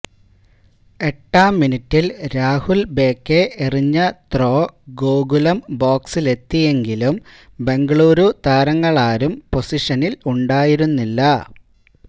എട്ടാം മിനുട്ടില് രാഹുല് ഭേകെ എറിഞ്ഞ ത്രോ ഗോകുലം ബോക്സിലെത്തിയെങ്കിലും ബെംഗളുരു താരങ്ങളാരും പൊസിഷനിലുണ്ടായിരുന്നില്ല